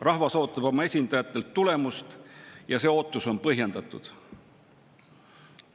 Rahvas ootab oma esindajatelt tulemust ja see ootus on põhjendatud.